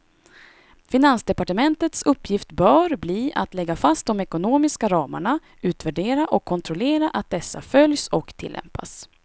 Finansdepartementets uppgift bör bli att lägga fast de ekonomiska ramarna, utvärdera och kontrollera att dessa följs och tillämpas.